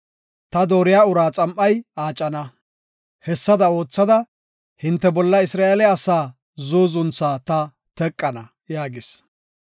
Ta dooriya uraa xam7ay aacana; hessada oothada hinte bolla Isra7eele asaa zuuzuntha ta teqana” yaagis.